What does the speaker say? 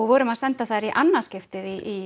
vorum að senda þær í annað skipti í